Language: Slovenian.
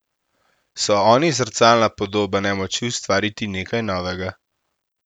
So oni zrcalna podoba nemoči ustvariti nekaj novega?